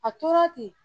A tora ten